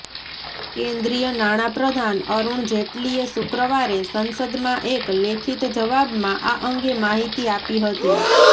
કેન્દ્રીય નાણાં પ્રધાન અરુણ જેટલીએ શુક્રવારે સંસદમાં એક લેખિત જવાબમાં આ અંગે માહિતી આપી હતી